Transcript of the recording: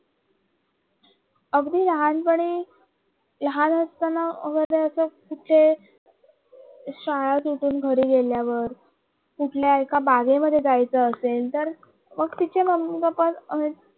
अगदी लहानपण लहान असताना कुठे श्याला सुटून घरी गेल्यावर कुठल्या एका बागेमध्ये जायचं असेल तर तिच्या मम्मी पप्पा आणि